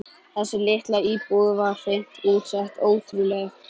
Þessi litla íbúð var hreint út sagt ótrúleg.